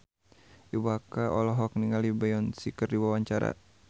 Iwa K olohok ningali Beyonce keur diwawancara